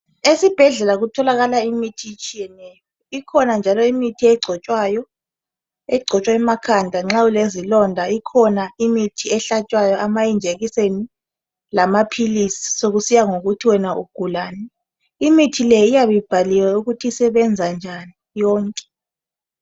Esibhedlela kutholakala imithi etshiyeneyo, ikhona njalo imithi egcotshwayo. Egcotshwa emakhanda nxa ulezilonda, ikhona imithi ehlatshwayo, amajekiseni lamaphilisi sokusiya ngokuthi wena ugulani. Imithi le iyabe ibhaliwe ukuthi usebenza njani yonke.